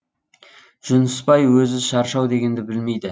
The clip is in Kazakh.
жүнісбай өзі шаршау дегенді білмейді